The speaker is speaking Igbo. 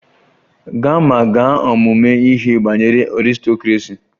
Gaa ma gaa ọmụmụ ihe banyere aristocracy!